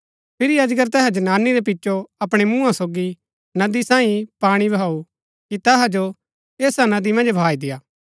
फिरी अजगर तैहा जनानी रै पिचो अपणै मुँहा सोगी नदी सांईये पाणी बहाऊ कि तैहा जो ऐसा नदी मन्ज बहाई देय्आ